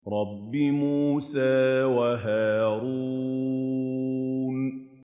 رَبِّ مُوسَىٰ وَهَارُونَ